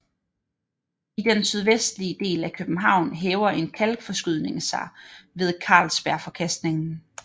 I den sydvestlige del af København hæver en kalkforskydning sig ved Carlsbergforkastningen